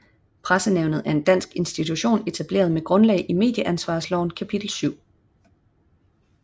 Pressenævnet er en dansk institution etableret med grundlag i Medieansvarslovens kapitel 7